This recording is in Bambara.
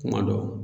Kuma dɔ